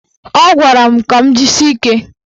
Ọ gwara m ka m jisie ike.